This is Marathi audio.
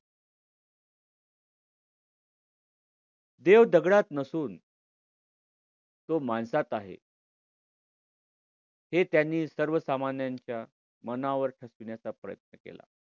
देव दगडात नसून तो माणसात आहे हे त्यांनी सर्वसामान्यांच्या मनावर ठसविण्याचा प्रयत्न केला.